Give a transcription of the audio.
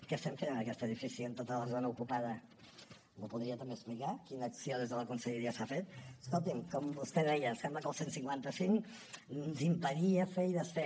què estem fent en aquest edifici amb tota la zona ocupada m’ho podria també explicar quina acció des de la conselleria s’ha fet escolti’m com vostè deia sembla que el cent i cinquanta cinc ens impedia fer i desfer